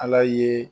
Ala ye